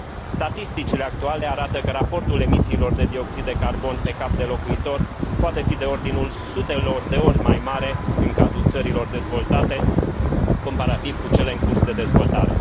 Statisticile actuale arată că raportul emisiilor de dioxid de carbon pe cap de locuitor poate fi de ordinul sutelor de ori mai mare în cazul țărilor dezvoltate, comparativ cu cele în curs de dezvoltare.